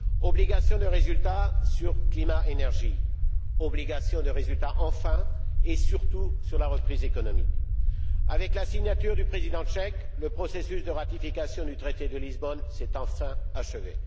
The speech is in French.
Obligation de résultat sur le climat et l'énergie. Obligation de résultat, enfin et surtout, sur la reprise économique. Avec la signature du président tchèque, le processus de ratification du traité de Lisbonne s'est enfin achevé.